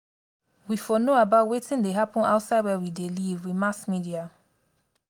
we for know about wetin dey happen outside where we dey live with mass media